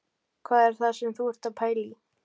Hvað er það sem þú ert að pæla í